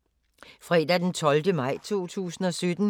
Fredag d. 12. maj 2017